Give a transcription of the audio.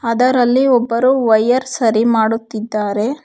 ಅದರಲ್ಲಿ ಒಬ್ಬರು ವಯರ್ ಸರಿ ಮಾಡುತ್ತಿದ್ದಾರೆ.